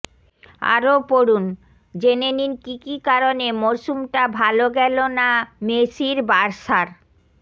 আরও পড়ুনঃজেনে নিন কি কি কারণে মরশুমটা ভালো গেল না মেসির বার্সার